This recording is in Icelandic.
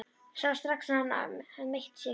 Sá strax að hann hafði meitt sig.